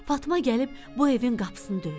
Fatma gəlib bu evin qapısını döydü.